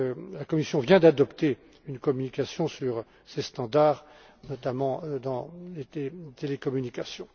La Commission vient d'adopter une communication sur ces derniers, notamment dans les télécommunications.